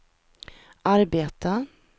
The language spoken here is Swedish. arbeta